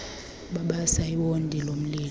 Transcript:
babasa iwondi lomlilo